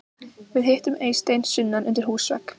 Við hittum Eystein sunnan undir húsvegg.